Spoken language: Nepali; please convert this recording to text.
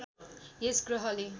यस ग्रहले